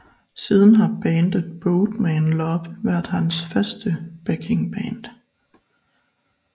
Siden har bandet Boat Man Love været hans faste backingband